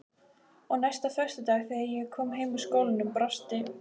Og næsta föstudag þegar ég kom heim úr skólanum brosti